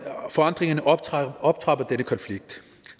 optrapper optrapper denne konflikt